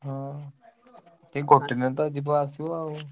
ହଁ ଏଇ ଗୋଟେ ଦିନ ତ ଯିବ ଆସିବ ଆଉ।